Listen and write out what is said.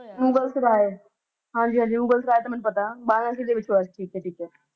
ਮੁਗਲ ਸਰਾਏ ਹਾਂਜੀ ਹਾਂਜੀ ਮੁਗਲ ਸਰਾਏ ਤਾ ਮੈਨੂੰ ਪਤਾ ਦੇ ਵਿਚ ਹੋਇਆ ਸੀ ਠੀਕ ਏ ਠੀਕ ਏ